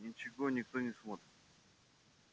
ничего никто не смотрит